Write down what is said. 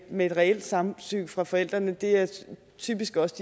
med et reelt samtykke fra forældrene er typisk også